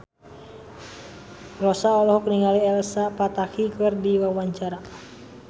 Rossa olohok ningali Elsa Pataky keur diwawancara